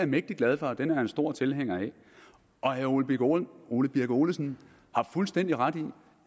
mægtig glad for og den er jeg en stor tilhænger af herre ole birk ole birk olesen har fuldstændig ret i